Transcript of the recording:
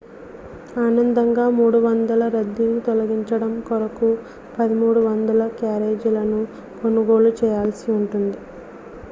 అదనంగా 300 రద్దీని తొలగించడం కొరకు 1,300 క్యారేజీలను కొనుగోలు చేయాల్సి ఉంటుంది